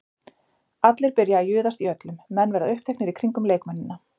Allir byrja að juðast í öllum, menn verða uppteknir í kringum leikmennina.